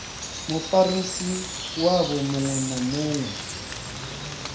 mufarisi wavho muṅwe na muṅwe